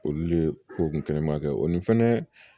Olu de ko kɛnɛma kɛ o ni fɛnɛ